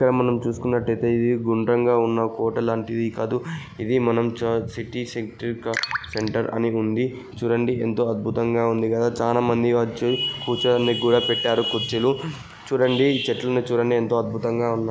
ఇక్కడ మనం చూస్తున్నట్లయితే ఇది గుండ్రంగా ఉన్న హోటల్ లాంటిది కాదు ఇది మనం చ సెంట్రీక సెంటర్ అని ఉంది చూడండి. ఎంతో అద్భుతంగా ఉంది కదా చాలామంది వచ్చి కూర్చోవడానికి కూడా పెట్టారు కుర్చీలు చూడండి చెట్లు ఉన్నాయి చూడండి ఎంతో అద్భుతంగా ఉన్నాయి.